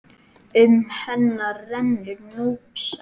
Um hann rennur Núpsá.